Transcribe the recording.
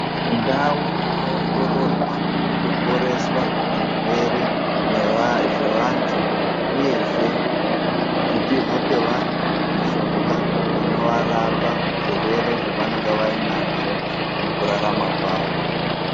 Ndau inoongororwa nekuporeswa zvirwere zvevanthu uyezve kupihwa kwevanthu mishonga inorapa zvirwere zvavanenge vanazvo mukurarama kwavo .